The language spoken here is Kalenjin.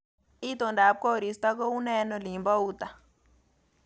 Itondap koristo koune eng olin bo uta